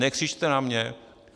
Nekřičte na mě!